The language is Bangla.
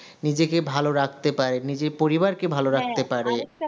নিজেকে ভালো রাখতে পারে নিজের পরিবারকে ভালো রাখতে পারে